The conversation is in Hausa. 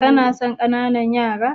Kana son ƙananan yara?